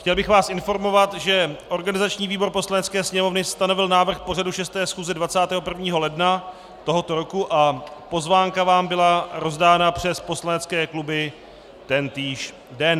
Chtěl bych vás informovat, že organizační výbor Poslanecké sněmovny stanovil návrh pořadu 6. schůze 21. ledna tohoto roku a pozvánka vám byla rozdána přes poslanecké kluby tentýž den.